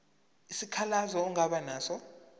isikhalazo ongaba naso